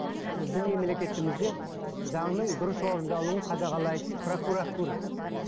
біздің мемлекетімізде заңның дұрыс орындалуын қадағалайтын прокуратура